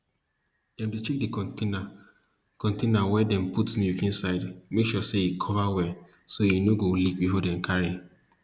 dem dey check d container container wey dem put de milk inside make sure say e cover well so e nor go leak before dem carry